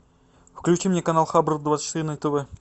включи мне канал хабар двадцать четыре на тв